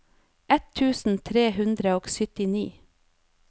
ett tusen tre hundre og syttini